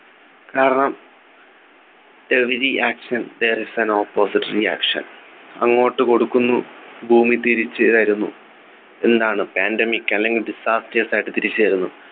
കാരണം Every action there is an opposite reaction അങ്ങോട്ട് കൊടുക്കുന്നു ഭൂമി തിരിച്ചുതരുന്നു എന്താണ് pandemic അല്ലെങ്കിൽ disasters ആയിട്ട് തിരിച്ചു തരുന്നു